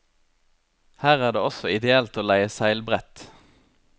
Her er det også ideelt å leie seilbrett.